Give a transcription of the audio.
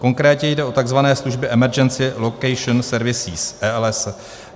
Konkrétně jde o tzv. služby Emergency Location Services, ELS.